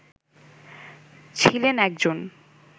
ছিলেন একজন